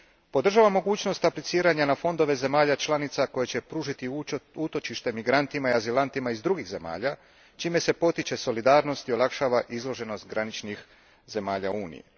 Podržavam mogućnost apliciranja na fondove zemalja članica koje će pružiti utočište migrantima i azilantima iz drugih zemalja, čime se potiče solidarnost i olakšava izloženost graničnih zemalja u Uniji.